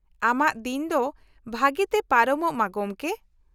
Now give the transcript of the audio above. -ᱟᱢᱟᱜ ᱫᱤᱱ ᱫᱚ ᱵᱷᱟᱹᱜᱤ ᱛᱮ ᱯᱟᱨᱚᱢᱚᱜ ᱢᱟ ᱜᱚᱢᱠᱮ !